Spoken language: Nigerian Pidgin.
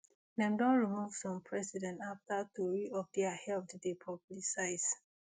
dem don remove some president afta tori of dia health dey publicise